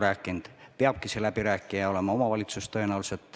Kui see kunagi tuleb, siis tõenäoliselt peabki läbirääkija olema omavalitsus.